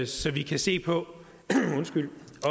så vi kan se på